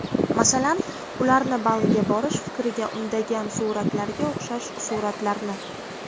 Masalan, ularni Baliga borish fikriga undagan suratlarga o‘xshash suratlarni.